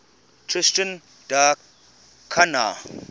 tristan da cunha